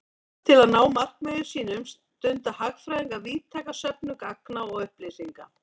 Til að ná markmiðum sínum stunda hagfræðingar víðtæka söfnun gagna og upplýsinga.